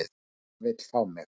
Amma vill fá mig.